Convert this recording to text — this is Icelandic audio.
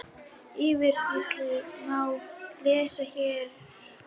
Yfirlýsinguna má lesa hér